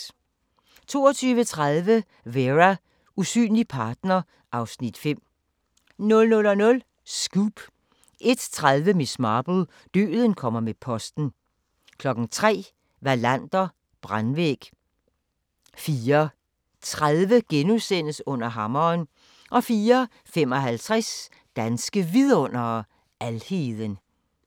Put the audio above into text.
22:30: Vera: Usynlig partner (Afs. 5) 00:00: Scoop 01:30: Miss Marple: Døden kommer med posten 03:00: Wallander: Brandvæg 04:30: Under hammeren * 04:55: Danske Vidundere: Alheden